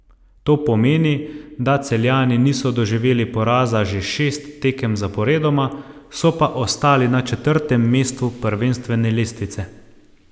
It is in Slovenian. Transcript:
To pomeni, da Celjani niso doživeli poraza že šest tekem zaporedoma, so pa ostali na četrtem mestu prvenstvene lestvice.